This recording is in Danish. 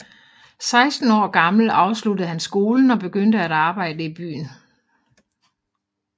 Seksten år gammel afsluttede han skolen og begyndte at arbejde i byen